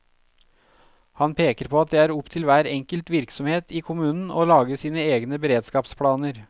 Han peker på at det er opp til hver enkelt virksomhet i kommunen å lage sine egne beredskapsplaner.